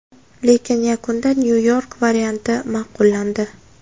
Lekin yakunda Nyu-York varianti ma’qullandi.